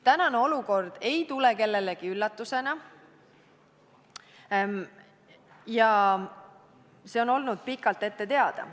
Tänane olukord ei tule kellelegi üllatusena, see on olnud pikalt ette teada.